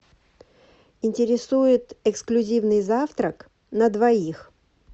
интересует эксклюзивный завтрак на двоих